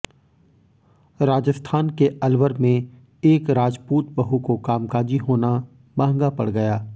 राजस्थान के अलवर में एक राजपूत बहू को कामकाजी होना महंगा पड़ गया